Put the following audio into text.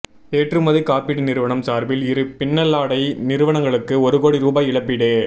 ஏற்றுமதி காப்பீடு நிறுவனம் சார்பில் இரு பின்னலாடை நிறுவனங்களுக்கு ஒரு கோடி ரூபாய் இழப்பீடு